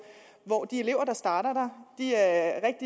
hvor de elever der starter der er